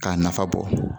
K'a nafa bɔ